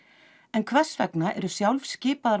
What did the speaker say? en hvers vegna eru sjálfskipaðar